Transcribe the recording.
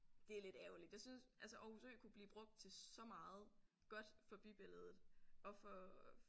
Det er lidt ærgerligt jeg synes altså Aarhus Ø kunne blive brugt til så meget godt for bybilledet og for